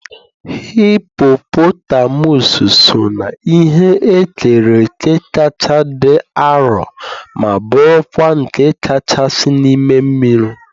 hippopotamus so na ihe e kere eke kacha dị arọ ma bụrụkwa nke kachasị n'ime mmiri.